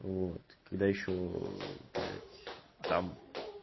вот когда ещё блять там